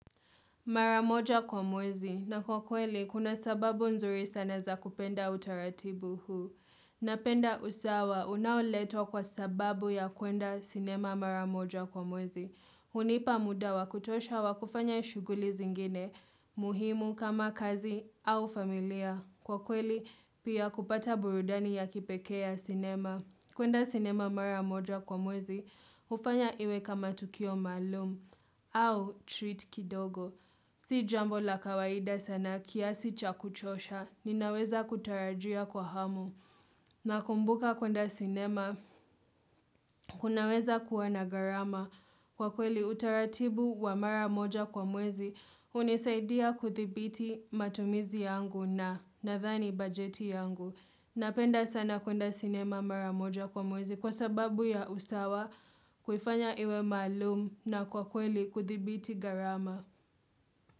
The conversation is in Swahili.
Mara moja kwa mwezi. Na kwa kweli, kuna sababu nzuri sana za kupenda utaratibu huu. Napenda usawa, unaoletwa kwa sababu ya kuenda sinema mara moja kwa mwezi. Hunipa muda wa kutosha wa kufanya shughuli zingine, muhimu kama kazi au familia. Kwa kweli, pia kupata burudani ya kipekee sinema. Kuenda sinema mara moja kwa mwezi, hufanya iwe kama tukio maalum, au treat kidogo. Si jambo la kawaida sana kiasi cha kuchosha, ninaweza kutarajia kwa hamu. Nakumbuka kwenda sinema, kunaweza kuwa na gharama kwa kweli utaratibu wa mara moja kwa mwezi, hunisaidia kudhibiti matumizi yangu na nadhani bajeti yangu. Napenda sana kwenda sinema mara moja kwa mwezi kwa sababu ya usawa kuifanya iwe maalum na kwa kweli kudhibiti gharama.